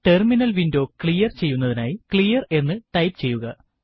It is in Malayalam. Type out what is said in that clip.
ടെർമിനൽ വിൻഡോ ക്ലിയർ ചെയ്യുന്നതിനായി ക്ലിയർ എന്ന് ടൈപ്പ് ചെയ്യുക